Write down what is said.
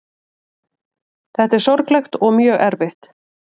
Þetta er sorglegt og mjög erfitt